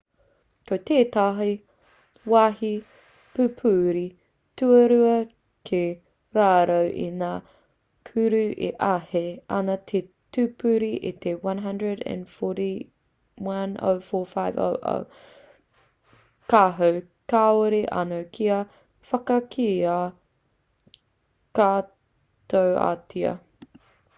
ko tētahi wāhi pupuri tuarua ki raro i ngā kura e āhei ana te pupuri i te 104,500 kāho kāore anō kia whakakīia katoatia